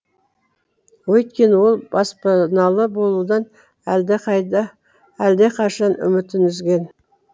өйткені ол баспаналы болудан әлдеқашан үмітін үзген